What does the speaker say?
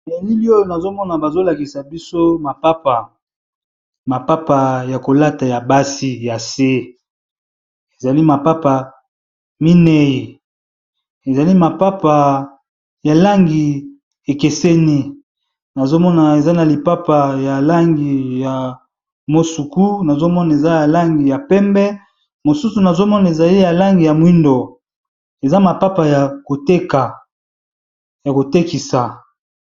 Na elili oyo nazo mona bazo lakisa biso mapapa, mapapa ya kolata ya basi ya se. Ezali mapapa minei ezali mapapa ya langi ekeseni nazo mona eza na lipapa ya langi ya mosuku, nazomona eza ya langi ya pembe, mosusu nazo mona ezali ya langi ya mwindo, eza mapapa ya koteka ya ko tekisa.